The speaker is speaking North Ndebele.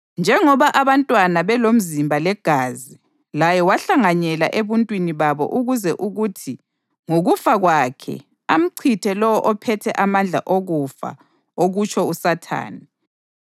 Njengoba abantwana belomzimba legazi, laye wahlanganyela ebuntwini babo ukuze kuthi ngokufa kwakhe amchithe lowo ophethe amandla okufa okutsho uSathane,